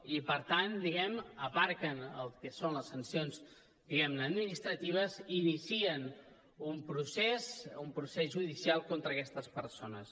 i per tant aparquen el que són les sancions administratives i inicien un procés un procés judicial contra aquestes persones